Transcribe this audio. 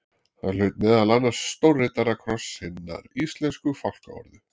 Hann hlaut meðal annars stórriddarakross hinnar íslensku fálkaorðu.